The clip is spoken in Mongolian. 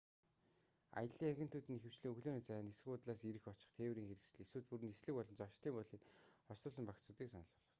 аяллын агентууд нь ихэвчлэн өглөөний цай нисэх буудлаас ирэх очих тээврийн хэрэгсэл эсвэл бүр нислэг болон зочид буудлыг хослуулсан багцуудыг санал болгодог